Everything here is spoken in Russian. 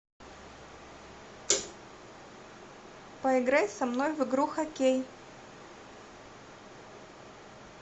поиграй со мной в игру хоккей